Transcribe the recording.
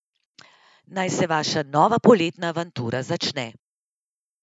Naj se vaša nova poletna avantura začne!